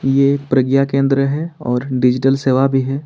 प्रज्ञा केंद्र है और डिजिटल सेवा भी है।